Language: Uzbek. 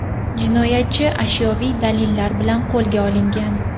Jinoyatchi ashyoviy dalillar bilan qo‘lga olingan.